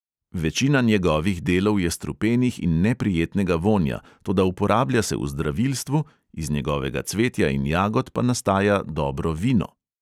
Večina njegovih delov je strupenih in neprijetnega vonja, toda uporablja se v zdravilstvu, iz njegovega cvetja in jagod pa nastaja dobro vino.